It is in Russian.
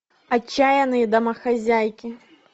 отчаянные домохозяйки